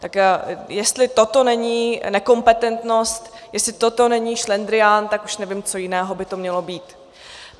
Tak jestli toto není nekompetentnost, jestli toto není šlendrián, tak už nevím, co jiného by to mělo být.